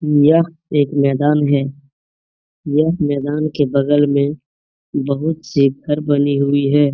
यह एक मैदान है यह मैदान के बगल में बहुत सी घर बनी हुई हैं।